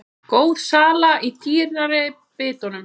Góð sala í dýrari bitunum